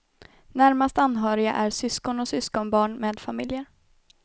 Närmast anhöriga är syskon och syskonbarn med familjer.